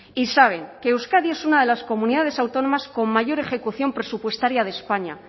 y saben que euskadi es una de las comunidades autónomas con mayor ejecución presupuestaria de españa